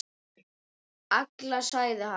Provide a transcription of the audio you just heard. Alla, sagði hann.